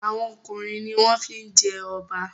Awon ọkùnrin ní wón fí jé Oba.